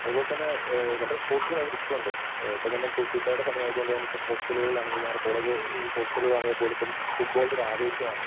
അതുപോലെതന്നെ ആ വളരെ സ്പോർട്സിലും ഭയങ്കര ഇഷ്ടമുണ്ട്. ആ ഇപ്പോ തന്നെ ഫിഫടെ സമയം ആയതുകൊണ്ട് തന്നെ ഇപ്പോ ഹോസ്റ്റലിലുകളാണെങ്കിലും ഞങ്ങടെ കോളേജ് ഹോസ്റ്റലിലാണെങ്കിൽ പോലും ഇപ്പോ ഫുട്ബോൾന്റെ ഒരു ആവേശമാണ്.